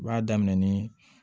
U b'a daminɛ nii